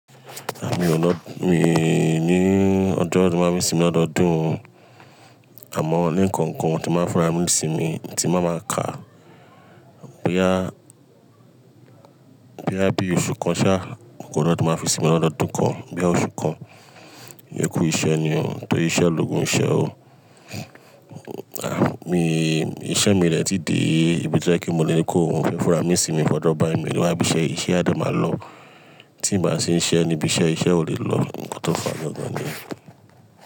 Ah mi o lọ, mi, ní ọjọ́ tí n máa fi sími lọ́dọọdún, àmọ́ lẹ́kọnkan ti máa fura mí n sími tí mbáa máa kà, boyá, boyá bí oṣù kan ṣá, kó lọ́dọ̀ ti máa fi sí mi lọ́dọọdún kan, bí i oṣù kan. Ikú iṣẹ́ ni ó, tọ́ri iṣẹ́ lógùn iṣẹ́ o. Ah mi, iṣẹ́ mi dẹ́tí dé ibi tí ó jẹ́ kí mo lé kó fun fẹ́ fura mí sími fọ̀jọ̀ báyi mi o niwa, ibí iṣẹ́, iṣẹ́ adẹ máa lọ. Tí mbáa ṣi ń ṣẹ́ ni bí iṣẹ́, iṣẹ́ ò lè lọ, nkó tọ́ fàá gangan niyẹ̀.